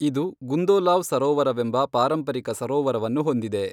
ಇದು ಗುಂದೋಲಾವ್ ಸರೋವರವೆಂಬ ಪಾರಂಪರಿಕ ಸರೋವರವನ್ನು ಹೊಂದಿದೆ.